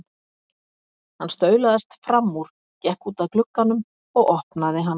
Hann staulaðist fram úr, gekk út að glugganum og opnaði hann.